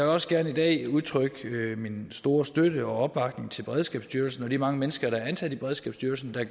også gerne i dag udtrykke min store støtte og opbakning til beredskabsstyrelsen og de mange mennesker der er ansat i beredskabsstyrelsen og